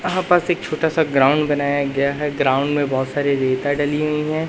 यहां पास एक छोटा सा ग्राउंड बनाया गया है ग्राउंड में बहोत सारी रेता डली हुई हैं।